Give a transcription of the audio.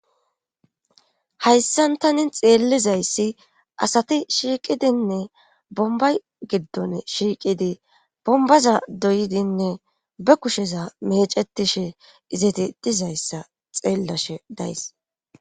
Hayssan tanin xeellizayssi asati shiiqidinne bombay giddon shiiqidi bombaza doyidinne be kusheza mecetishe izati dizayssa xeellashe days.